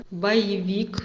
боевик